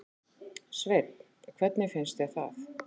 Sveinn: Hvernig finnst þér það?